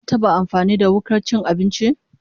Ka taba amfani da wukar cin abinci?